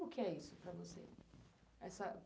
Como que é isso para você? Essa